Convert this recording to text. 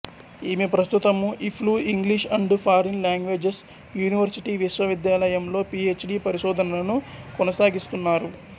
ఈమె ప్రస్తుతము EFLU English and foreign languages university విశ్వవిద్యాలయంలో పి హెచ్ డి పరిశోధనను కొనసాగిస్తున్నారు